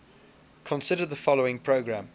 consider the following program